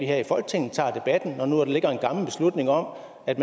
her i folketinget tager debatten når nu der ligger en gammel beslutning om at